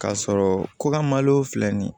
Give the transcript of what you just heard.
K'a sɔrɔ ko ka malo filɛ nin ye